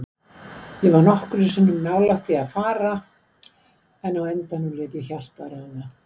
Ég var nokkrum sinnum nálægt því að fara, en á endanum lét ég hjartað ráða.